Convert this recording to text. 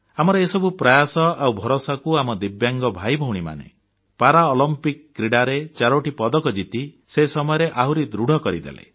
ଆମର ଏସବୁ ପ୍ରୟାସ ଆଉ ଭରସାକୁ ଆମ ଦିବ୍ୟାଙ୍ଗ ଭାଇଭଉଣୀମାନେ ପାରାଅଲମ୍ପିକ୍ କ୍ରୀଡ଼ାରେ 4ଟି ପଦକ ଜିତି ସେ ସମୟରେ ଆହୁରି ଦୃଢ଼ କରିଦେଲେ